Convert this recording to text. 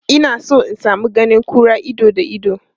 Ina son in sami ganin kura ido da ido.